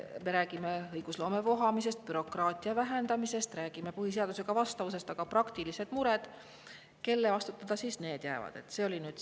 Me räägime õigusloome vohamisest, bürokraatia vähendamisest, räägime põhiseadusele vastavusest, aga praktilised mured – kelle vastutada siis need jäävad?